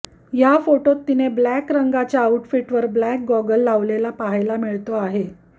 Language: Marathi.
या फोटोत तिने ब्लॅक रंगाच्या आऊटफिटवर ब्लॅक गॉगल लावलेला पहायला मिळतो आहे